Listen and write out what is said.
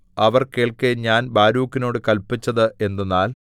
അവർ കേൾക്കെ ഞാൻ ബാരൂക്കിനോടു കല്പിച്ചത് എന്തെന്നാൽ